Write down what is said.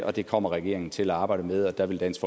og det kommer regeringen til at arbejde med og der vil dansk